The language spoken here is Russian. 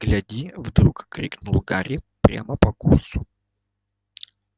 гляди вдруг крикнул гарри прямо по курсу